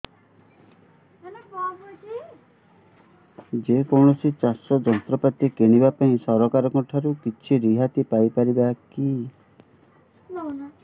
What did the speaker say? ଯେ କୌଣସି ଚାଷ ଯନ୍ତ୍ରପାତି କିଣିବା ପାଇଁ ସରକାରଙ୍କ ଠାରୁ କିଛି ରିହାତି ପାଇ ପାରିବା କି